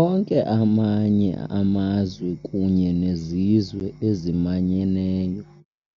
Onke amanye amazwe kunye nezizwe ezimanyeneyo,